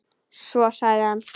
Svo sagði hann